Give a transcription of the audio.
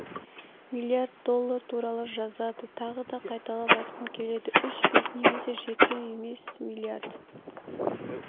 миллиард доллар туралы жазады тағы да қайталап айтқым келеді үш бес немесс жеті емес миллиард